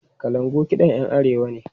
Kalangu kiɗan 'yan Arewa ne.